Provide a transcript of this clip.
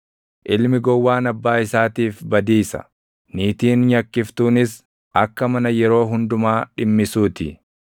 Ilmi gowwaan abbaa isaatiif badiisa; niitiin nyakkiftunis akka mana yeroo hundumaa dhimmisuu ti.